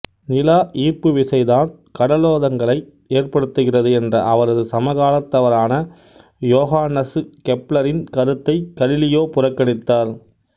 நிலா ஈர்ப்பு விசை தான் கடலோதங்களை ஏற்படுத்துகிறது என்ற அவரது சமகாலத்தவரான யோகான்னசு கெப்ளரின் கருத்தைக் கலீலியோ புறக்கணித்தார்